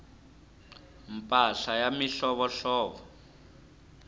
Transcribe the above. mpahla ya mihlovohlovo